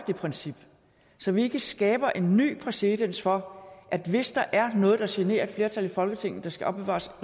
det princip så vi ikke skaber en ny præcedens for at hvis der er noget der generer et flertal i folketinget skal opbevares